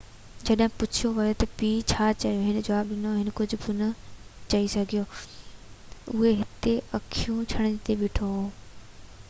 جڏهن پڇيو ويو تہ پيءُ ڇا چيو هن جواب ڏنو هي ڪجهہ بہ نہ چئي سگهيو اهو هتي اکيون ڇنڀڻيدي بيٺو هو